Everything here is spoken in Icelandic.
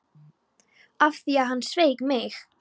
Það var af því að hann sveik mig.